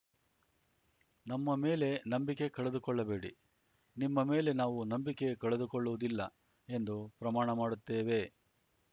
ನಮ್ಮ ಮೇಲೆ ನಂಬಿಕೆ ಕಳೆದುಕೊಳ್ಳಬೇಡಿ ನಿಮ್ಮ ಮೇಲೆ ನಾವು ನಂಬಿಕೆ ಕಳೆದುಕೊಳ್ಳುವುದಿಲ್ಲ ಎಂದು ಪ್ರಮಾಣ ಮಾಡುತ್ತೇವೆ